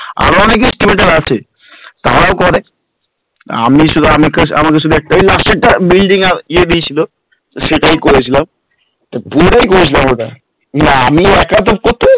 আমাদের কিছুটা আছে, তারাও করে আমি শুধু আমাকে শুধু একটাই building এ ইয়ে দিয়েছিল, সেটাই করেছিলাম, পুরোটাই হয়েছিল আমাদের আমি কাতো